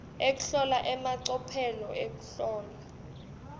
ekuhlola emacophelo ekuhlola